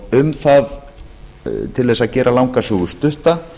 um það til þess að gera langa sögu stutta